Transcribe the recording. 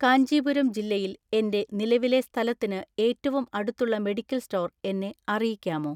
കാഞ്ചീപുരം ജില്ലയിൽ എന്റെ നിലവിലെ സ്ഥലത്തിന് ഏറ്റവും അടുത്തുള്ള മെഡിക്കൽ സ്റ്റോർ എന്നെ അറിയിക്കാമോ?